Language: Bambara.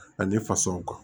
Ani fasaw kan